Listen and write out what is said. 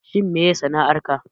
Shin menene sana'ar ka